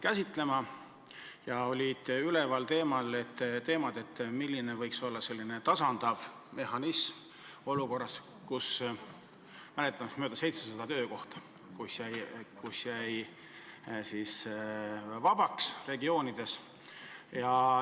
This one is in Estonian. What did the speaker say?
Üles kerkisid teemad, milline võiks olla tasandav mehhanism olukorras, kus, mäletan, regioonides jäi vähemaks 700 töökohta.